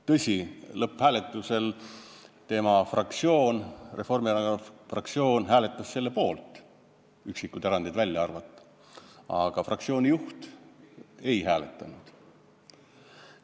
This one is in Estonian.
Tõsi, lõpphääletusel hääletas tema fraktsioon, Reformierakonna fraktsioon, selle poolt, üksikud erandid välja arvatud, aga fraktsiooni juht ei hääletanud.